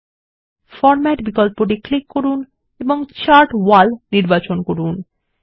chart এলাকা format করার জন্য ফরম্যাট বিকল্পটি ক্লিক করুন এবং চার্ট ওয়াল নির্বাচন করুন